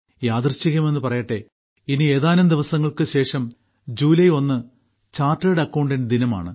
യാദൃശ്ചികമെന്നു പറയട്ടെ ഇനി ഏതാനും ദിവസങ്ങൾക്ക് ശേഷം ജൂലൈ ഒന്ന് ചാർട്ടേഡ് അക്കൌണ്ടന്റ് ദിനമാണ്